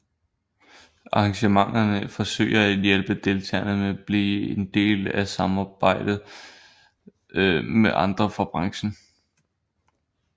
Arrangementerne forsøger at hjælpe deltagerne med blive en del af at samarbejde med andre fra branchen